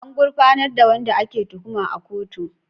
An gurfanar da wanda ake tuhuma a kotu?